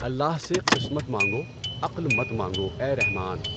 الله سے قسمت مانگو عقل مت مانگو اے رحماؔن